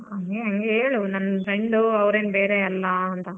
ಹ್ಮ್ ನಿ ಹೇಳು ನಾನ್ friend ಅವ್ರೇನ್ ಬೇರೆ ಅಲ್ಲ ಅಂತ.